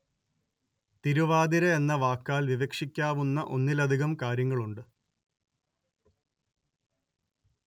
തിരുവാതിര എന്ന വാക്കാല്‍ വിവക്ഷിക്കാവുന്ന ഒന്നിലധികം കാര്യങ്ങളുണ്ട്